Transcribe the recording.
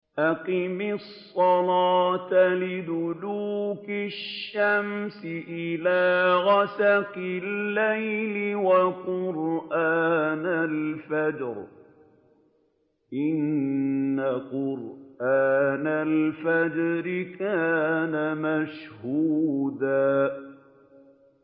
أَقِمِ الصَّلَاةَ لِدُلُوكِ الشَّمْسِ إِلَىٰ غَسَقِ اللَّيْلِ وَقُرْآنَ الْفَجْرِ ۖ إِنَّ قُرْآنَ الْفَجْرِ كَانَ مَشْهُودًا